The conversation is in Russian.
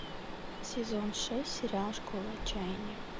сезон шесть сериал школа отчаяния